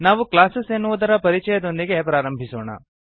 ನಾವು ಕ್ಲಾಸಸ್ ಎನ್ನುವುದರ ಪರಿಚಯದೊಂದಿಗೆ ಪ್ರಾರಂಭಿಸೋಣ